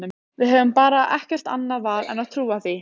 Við höfum bara ekkert annað val en að trúa því.